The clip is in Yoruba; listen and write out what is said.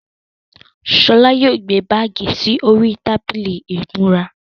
Ṣọlá yóò gbé báàgì sì orí tábìlì ìmúra.